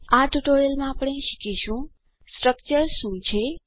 આ ટ્યુટોરીયલમાં આપણે શીખીશું સ્ટ્રક્ચર્સ શું છે